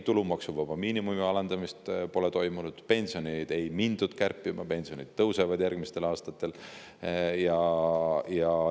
Tulumaksuvaba miinimumi alandamist ei ole toimunud, pensione ei mindud kärpima, vaid pensionid järgmistel aastatel tõusevad.